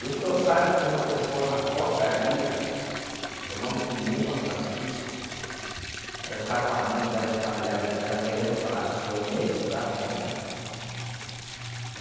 E o senhor sabe que tem uma pessoa na portaria, por nome de Nilma Francisco, ela está com a mãe dela, os familiares dela, querendo falar com o senhor nesse exato momento?